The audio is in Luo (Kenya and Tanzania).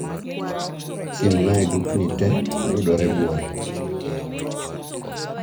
Siemna dukni te mayudore buore